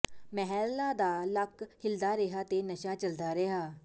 ਮਹਿਲਾ ਦਾ ਲੱਕ ਹਿੱਲਦਾ ਰਿਹਾ ਤੇ ਨਸ਼ਾ ਚੱਲਦਾ ਰਿਹਾ